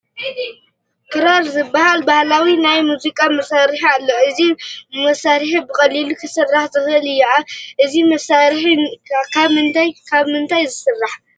ክራር ዝበሃል ባህላዊ ናይ ሙዚቃ መሳርሒ ኣሎ፡፡ እዚ መሳርሒ ብቐሊሉ ክስራሕ ዝኽእል እዩ፡፡ እዚ መሳርሒ ካብ ምንታይን ካብ ምንታይን ይስራሕ?